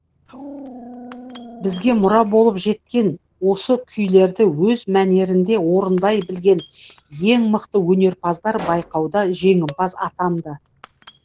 бізге мұра болып жеткен осы күйлерді өз мәнерінде орындай білген ең мықты өнерпаздар байқауда жеңімпаз атанды